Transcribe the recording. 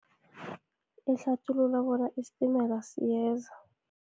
Ihlathulula bona isitimela siyeza.